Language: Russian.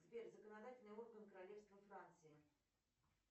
сбер законодательный орган королевства франции